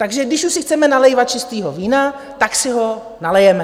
Takže když už si chceme nalévat čistého vína, tak si ho nalijeme.